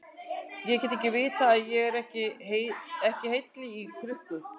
Ég get ekki vitað að ég er ekki heili í krukku.